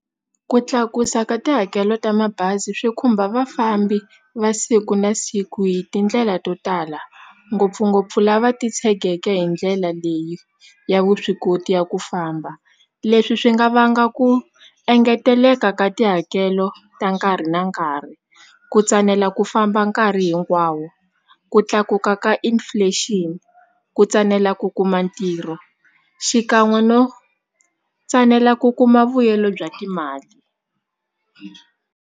Ku tlakusa ka tihakelo ta mabazi swi khumba vafambi va siku na siku hi tindlela to tala ngopfungopfu lava titshegeke hi ndlela leyi ya vuswikoti ya ku famba leswi swi nga vanga ku engeteleka ka tihakelo ta nkarhi na nkarhi ku tsanela ku famba nkarhi hinkwawo ku tlakuka ka inflation ku tsanela ku kuma ntirho xikan'we no tsanela ku kuma vuyelo bya timali.